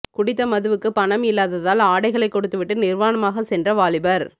குடித்த மதுவுக்கு பணம் இல்லாததால் ஆடைகளை கொடுத்துவிட்டு நிர்வாணமாக சென்ற வாலிபர்